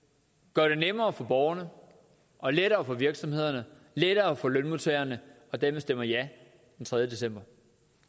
gøre det nemmere for borgerne og lettere for virksomhederne lettere for lønmodtagerne og dem der stemmer ja den tredje december